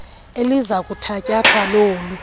eliza kuthatyathwa lolu